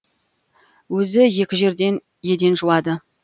өзі екі жерде еден жуады